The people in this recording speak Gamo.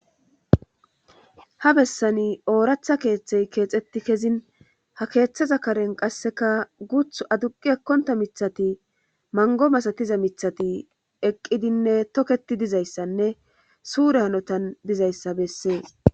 Ha bessani ooratha keeththey keexetti kezin ha keeththaza karen qasseka guth aduqi ekkonta mithati mango masatiza mithati eqqidinne toketi dizayssanne suure hanotan dizayssa bessee